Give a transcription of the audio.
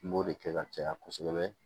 N b'o de kɛ ka caya kosɛbɛ